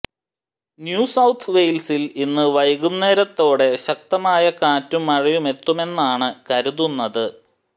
New South വെയ്ൽസിൽ ഇന്ന് വൈകുന്നേരത്തോടെ ശക്തമായ കാറ്റും മഴയുമെത്തുമെന്നാണ് കരുതുനന്ത്